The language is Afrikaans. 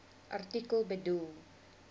artikel bedoel